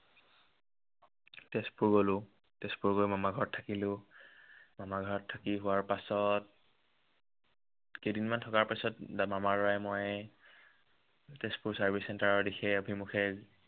তেজপুৰ গ'লো। তেজপুৰত গৈ মামাৰ ঘৰত থাকিলো। মামাৰ ঘৰত থাকি হোৱাৰ পাছত কেইদিনমান থকাৰ পাছত মামাৰ লৰাই ময়ে তেজপুৰ service centre ৰ দিশে অভিমুখে